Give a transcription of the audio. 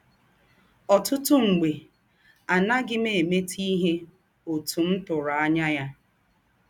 Ọ̀tụ̀tụ̀ mḡbè, à nàghị m èmètè ìhè òtú m tūrù ànyá yà.